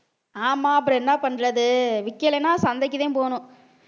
ஆமா அப்புறம் என்ன பண்றது விக்கலைன்னா சந்தைக்குதான் போகணும்